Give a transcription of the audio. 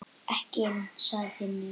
Ekki inni, sagði Finnur.